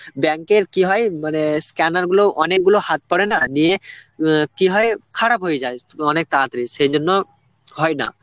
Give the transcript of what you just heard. bank এর কি হয় মানে scanner গুলো অনেকগুলো হাত পড়ে না নিয়ে উ কি হয় খারাপ হয়ে যায় অনেক তাড়াতাড়ি, সেজন্য হয় না.